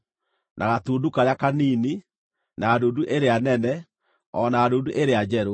na gatundu karĩa kanini, na ndundu ĩrĩa nene, o na ndundu ĩrĩa njerũ,